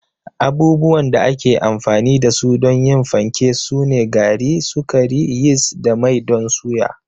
Abubuwan da ake amfani da su don yin fanke sune gari, sukari, yist da mai don suya.